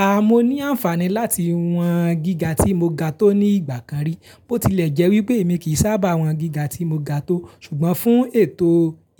Aà, mo ní àǹfààní láti wọn gíga tí mo ga tó ní ìgbà kan rí. Bó tilẹ̀ jẹ́ wípé èmi kì í sábà wọn gíga tí mo ga tó, ṣùgbọ́n fún ètò